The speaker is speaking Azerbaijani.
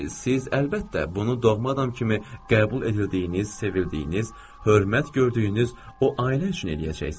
Siz, əlbəttə, bunu doğma adam kimi qəbul edildiyiniz, sevildiyiniz, hörmət gördüyünüz o ailə üçün eləyəcəksiz.